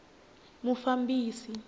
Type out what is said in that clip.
mufambisi